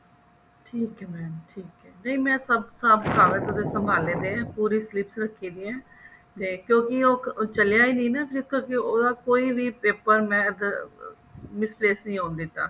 ਠੀਕ ਹੈ mam ਠੀਕ ਹੈ ਮੈਂ ਸਭ ਬਸ਼ ਸਾਰਾ ਕੁਛ ਸੰਭਲਿਆ ਪਿਆ ਪੂਰੀ clips ਰੱਖੀ ਹੋਈਆਂ ਜੇ ਕਿਉਂਕੀ ਉਹ ਚੱਲਿਆ ਹੀ ਨਹੀ ਕਿਉਕੀ ਉਹਦਾ ਕੋਈ paper ਮੈਂ mistake ਨੀ ਆਉਣ ਦਿੱਤਾ